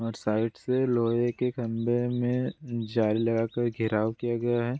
और साइड से लोहे के खंबे में जाली लगा कर घेराव किया गया है।